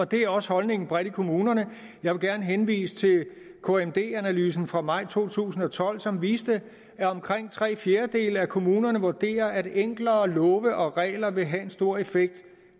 det er også holdningen bredt i kommunerne jeg vil gerne henvise til kmd analysen fra maj to tusind og tolv som viste at omkring tre fjerdedele af kommunerne vurderer at enklere love og regler vil have stor effekt